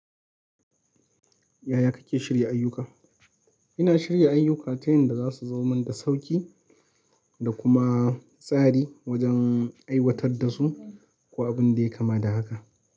Yaya kake shirya ayyuka? Ina shirya ayyuka ta yanda za su zo mun da sauƙi dakuma, tsari wajen, aiwatar dasu, ko abinda yai kama da haka.